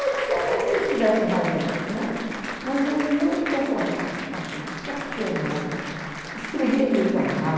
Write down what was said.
Pode ser até que eles tivessem razão, não é? Mas eu não me conformava com aquilo, questionava, escrevia no jornal.